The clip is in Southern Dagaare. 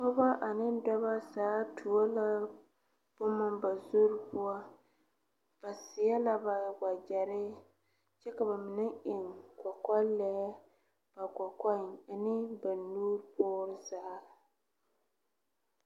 Pɔgebo ane dɔɔbo zaa tuo la boma ba zure poɔ, ba saɛ la ba wagyerɛ kyɛ ka ba mine eŋ kɔkɔlee ba kɔkɔɛ ane ba nu pore zaa .